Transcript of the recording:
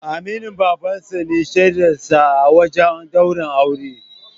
Aminin Baban sa ne shaidar sa a wajen ɗaurin auren.